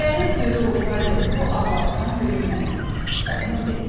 Əgər ev böyük olsaydı, bu ağlabatan görünməzdi, Çipalino dedi.